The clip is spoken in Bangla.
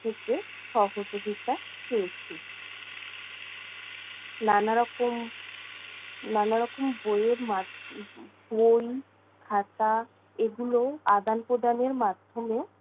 থেকে সহযোগিতা পেয়েছি। নানারকম নারারকম বইয়ের মাধ্য~ উম বই খাতা এগুলো আদান-প্রদানের মাধ্যমে